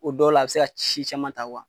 O dɔw la a bi se ka ci caman ta wa ?